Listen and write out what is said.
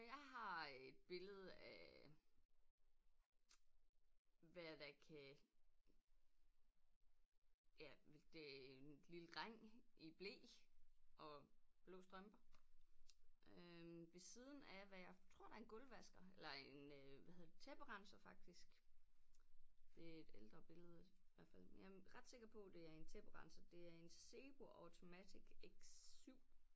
Jeg har et billede af hvad der kan ja vel det en lille dreng i ble og blå strømper øh ved siden af hvad jeg tror der er en gulvvasker eller en øh hvad hedder det tæpperenser faktisk det er et ældre billedet hvert fald men jeg er ret sikker på at det er en tæpperenser det er en Sebo Automatic X 7